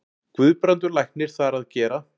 Guðbrandur læknir þar að gera.